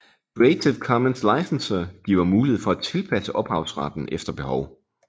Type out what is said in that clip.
Creative Commons Licenser giver mulighed for at tilpasse ophavsretten efter behov